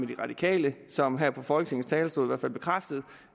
de radikale som her fra folketingets talerstol i hvert fald bekræftede